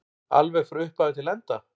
Alveg frá upphafi til enda?